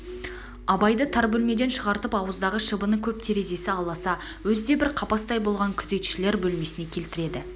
абайды тар бөлмеден шығартып ауыздағы шыбыны көп терезесі аласа өзі де бір қапастай болған күзетшілер бөлмесіне келтіреді